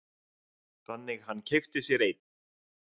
Þannig hann keypti sér einn.